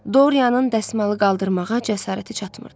Doriyanın dəsmalı qaldırmağa cəsarəti çatmırdı.